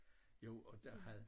Jo og der havde